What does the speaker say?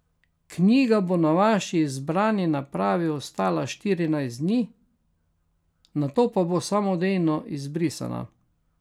Knjiga bo na vaši izbrani napravi ostala štirinajst dni, nato pa bo samodejno izbrisana.